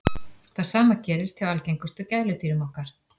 það sama gerist hjá algengustu gæludýrum okkar